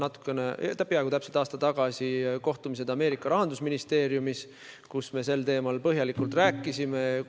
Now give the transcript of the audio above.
Muu hulgas olid mul peaaegu täpselt aasta tagasi kohtumised Ameerika Ühendriikide rahandusministeeriumis, kus me sel teemal põhjalikult rääkisime.